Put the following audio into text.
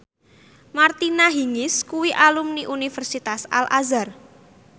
Martina Hingis kuwi alumni Universitas Al Azhar